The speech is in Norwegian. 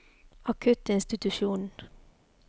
akuttinstitusjonen